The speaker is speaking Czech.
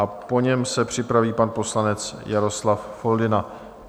A po něm se připraví pan poslanec Jaroslav Foldyna.